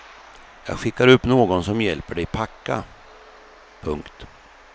Jag skickar upp någon som hjälper dig packa. punkt